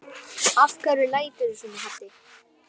Af hverju læturðu svona Haddi?